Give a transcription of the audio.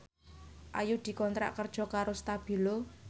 Ayu dikontrak kerja karo Stabilo